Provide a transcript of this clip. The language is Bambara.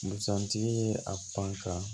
Busan tigi ye a panga